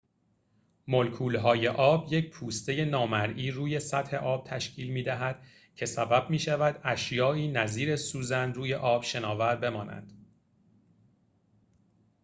مولکول‌های آب یک پوسته نامرئی روی سطح آب تشکیل می‌دهد که سبب می‌شود اشیائی نظیر سوزن روی آب شناور بمانند